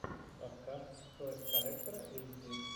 подкаст тойс коллектора эйч ди